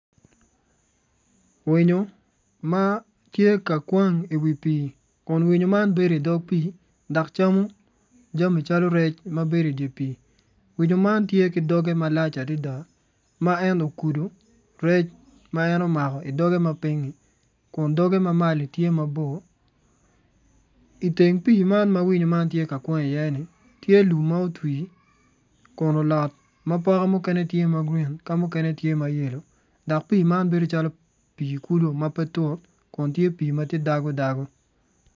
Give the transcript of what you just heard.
Winyo ma tye ka kwang iwi pii kun winyo man bedo idog pii dok camo jami calo rec ma bedo idye pii winyo man tye ki doge malac adada ma en okudo rec ma en omako idoge ma piny-nyi kun doge ma maloni tye mabor iteng pii man ma winyo man tye ka kwang iye-ni tye lum ma owti kun olot ma poke mukene tye ma grin mukene tye ma yelo dok pii man bedo calo pii kulu ma pe tut kun tye pii ma tye dago dago.